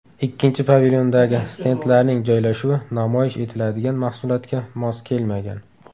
Ikkinchi pavilyondagi stendlarning joylashuvi namoyish etiladigan mahsulotga mos kelmagan.